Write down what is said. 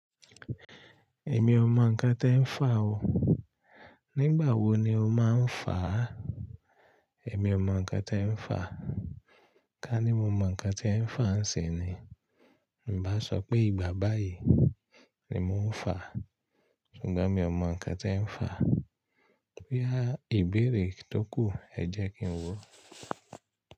Èmi ò mọ ǹkan tí ẹ̀ ń fà o. Nígbà wo ni o máa ń fàá? Èmi ò mọ ǹkan tí ẹ̀ ń fà. Ká ní mo mọ ǹkan tí ẹ̀ ń fà ń sin ni. N bá sọ pé ìgbà báyìí ni mò ń fà, ṣùgbọ́n mi ò mọ ǹkan tí ẹ̀ ń fà. Bóyá ìbéèrè tó kù, ẹ jẹ́ kí n wò.